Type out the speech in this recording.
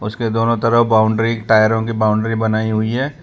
उसके दोनों तरफ बाउंड्री टायरों की बाउंड्री बनाई हुई हैं।